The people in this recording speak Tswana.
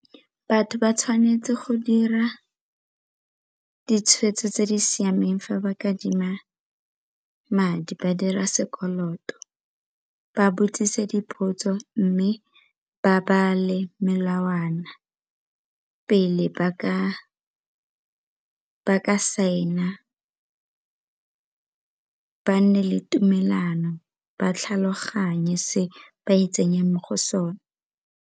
Batho ba tshwanetse go dira ditshweetso tse di siameng fa ba kadima madi ba dira sekoloto, ba botsise dipotso mme ba bale melawana pele ba ka sign-a ba nne le tumelano ba tlhaloganye se ba itsenyang mo go sone.